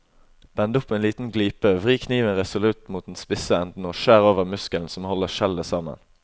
Bend opp en liten glipe, vri kniven resolutt mot den spisse enden og skjær over muskelen som holder skjellet sammen.